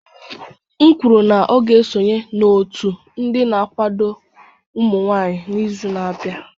M kwuru na ọ ga-esonye n'otu ndị na-akwado ụmụ nwanyị n'izu na-abịa